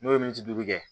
N'o ye min duuru kɛ